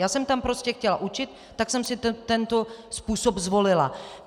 Já jsem tam prostě chtěla učit, tak jsem si tento způsob zvolila.